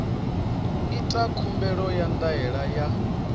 ita khumbelo ya ndaela ya